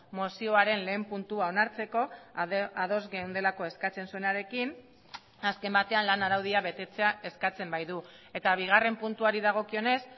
mozioaren lehen puntua onartzeko ados geundelako eskatzen zuenarekin azken batean lan araudia betetzea eskatzen baitu eta bigarren puntuari dagokionez